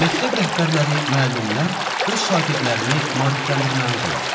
Məktəb rəhbərləri, müəllimlər öz şagirdlərini maarifləndirməlidirlər.